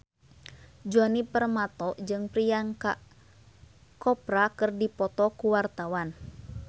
Djoni Permato jeung Priyanka Chopra keur dipoto ku wartawan